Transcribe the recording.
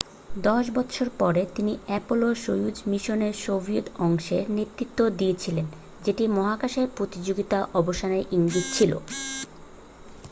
দশ বছর পরে তিনি অ্যাপোলো-সোয়ুজ মিশনের সোভিয়েত অংশের নেতৃত্ব দিয়েছিলেন যেটি মহাকাশে প্রতিযোগিতার অবসানের ইঙ্গিত ছিল